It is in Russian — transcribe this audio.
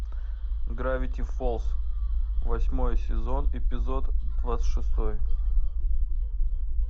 гравити фолз восьмой сезон эпизод двадцать шестой